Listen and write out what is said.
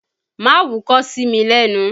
Má wúkọ́ sí mi lẹ́nu!